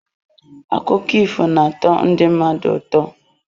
Akụkọ ifo na-atọ ndị mmadụ ụtọ.